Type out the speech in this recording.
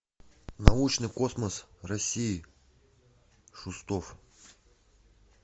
научный космос россии шустов